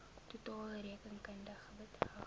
totale rekenkundige bedrag